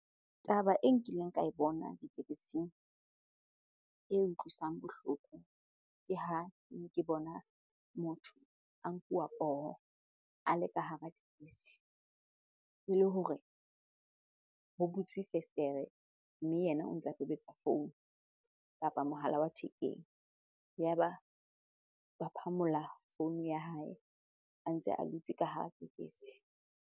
Taba e nkileng ka e bona ditekesing e utlwisang bohloko, ke ha ke bona motho a nkuwa poho a le ka hara tekesi. Ele hore ho butswe fesetere mme yena o ntsa tobetsa founu kapa mohala wa thekeng. Yaba ba phamola founu ya hae a ntse a dutse ka hara tekesi.